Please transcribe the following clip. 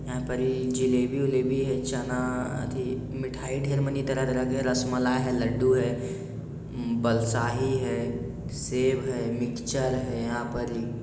यहाँ पर ये जलेबी वलेबी है चना आदि मिठाई रसमलाई है लड्डू बालूशाही है सेव है मिक्चर है। यहाँ पर ही --